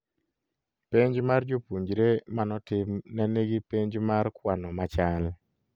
Penj mar japuonjre manotim nenigi penj mar kwano machal